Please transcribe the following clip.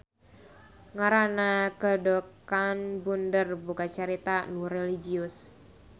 Ngaran Kedokanbunder boga carita nu relijius.